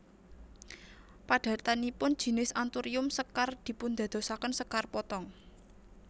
Padatanipun jinis anthurium sekar dipundadosaken sekar potong